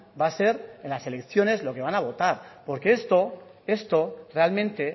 va a ser en las elecciones lo que van a votar porque esto realmente